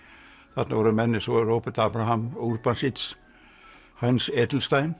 þarna voru menn eins og Róbert Abraham og Urbansich Hans